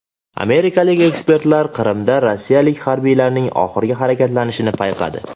Amerikalik ekspertlar Qrimda rossiyalik harbiylarning oxirgi harakatlanishini payqadi.